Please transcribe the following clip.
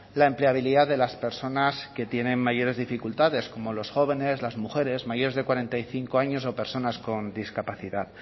la empleabilidad de las personas que tienen mayores dificultades como los jóvenes las mujeres mayores de cuarenta y cinco años o personas con discapacidad